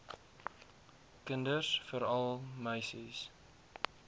kinders veral meisies